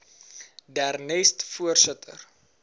der nest voorsitter